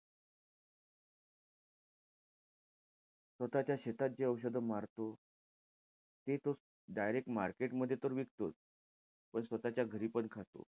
स्वतःच्या शेतात जे औषध मारतो, ते तो direct market मध्ये तर विकतोच, पण स्वतःच्या घरीपण खातो.